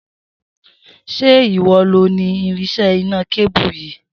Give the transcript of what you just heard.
Se ìwọ lo ni irinsé iná kébù yìí?